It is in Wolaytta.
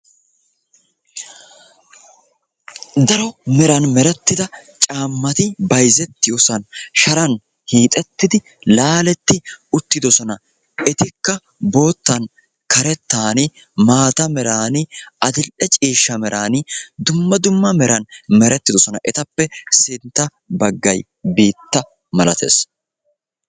Daro meran merettida caammati bayzettiyoosan sharaan hiixettidi laalettidi uttidosona. etikka boottan karettaani maata meerani adil"e ciishsha meraani dumma dumma meran merettidosona. etappe sintta baggay biitta malattees.